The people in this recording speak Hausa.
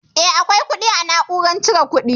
Eh akwai kuɗi a na'urar cire kuɗi